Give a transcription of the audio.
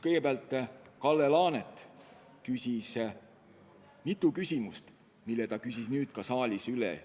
Kõigepealt Kalle Laanet esitas mitu küsimust, mis ta küsis nüüd ka siin saalis üle.